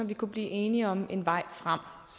vi kunne blive enige om en vej frem